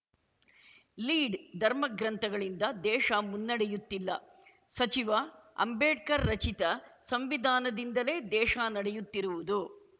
lead ಧರ್ಮ ಗ್ರಂಥಗಳಿಂದ ದೇಶ ಮುನ್ನಡೆಯುತ್ತಿಲ್ಲ ಸಚಿವ ಅಂಬೇಡ್ಕರ್‌ ರಚಿತ ಸಂವಿಧಾನದಿಂದಲೇ ದೇಶ ನಡೆಯುತ್ತಿರುವುದು